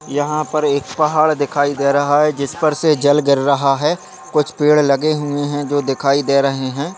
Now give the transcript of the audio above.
यहांँ पर एक पहाड़ दिखाई दे रहा है जिस पर से जल गिर रहा है कुछ पेड़ लगे हुए हैं जो दिखाई दे रहे है।